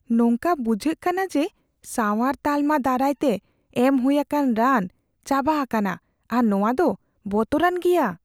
ᱱᱚᱝᱠᱟ ᱵᱩᱡᱷᱟᱹᱜ ᱠᱟᱱᱟ ᱡᱮ ᱥᱟᱶᱟᱨ ᱛᱟᱞᱢᱟ ᱫᱟᱨᱟᱭ ᱛᱮ ᱮᱢ ᱦᱩᱭ ᱟᱠᱟᱱ ᱨᱟᱱ ᱪᱟᱵᱟ ᱟᱠᱟᱱᱟ ᱟᱨ ᱱᱚᱣᱟᱫᱚ ᱵᱚᱛᱚᱨᱟᱱ ᱜᱮᱭᱟ ᱾